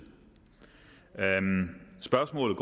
spørgsmålet